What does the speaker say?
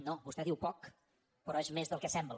no vostè diu poc però és més del que sembla